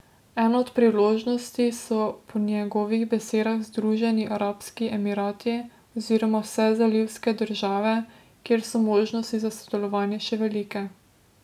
Ena od priložnosti so po njegovih besedah Združeni arabski emirati oziroma vse zalivske države, kjer so možnosti za sodelovanje še velike.